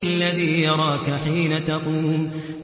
الَّذِي يَرَاكَ حِينَ تَقُومُ